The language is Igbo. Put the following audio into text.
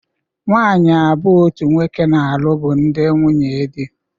Nwaanyị abụọ otu nwoke na-alụ bụ ndị nwunye di.